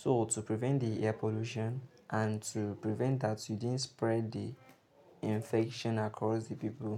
So to prevent the air pollution and to prevent that you didn't spread the infection across the people.